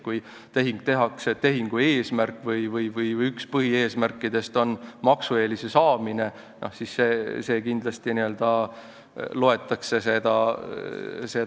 Kui tehing tehakse ja selle üks põhieesmärkidest on maksueelise saamine, siis seda loetakse kindlasti n-ö maksueelise saamiseks.